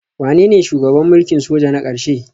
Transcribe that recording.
Wanene shugaban mulkin soja na ƙarshe?